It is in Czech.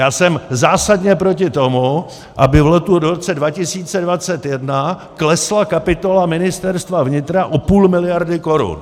Já jsem zásadně proti tomu, aby v roce 2021 klesla kapitola Ministerstva vnitra o půl miliardy korun.